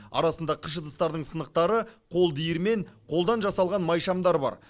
арасында қыш ыдыстардың сынықтары қол диірмен қолдан жасалған майшамдар бар